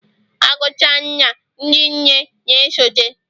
Agucha nna, ndị nne na-esote